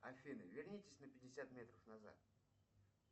афина вернитесь на пятьдесят метров назад